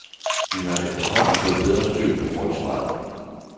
Vi har efterhånden fået bedre styr på forsvaret.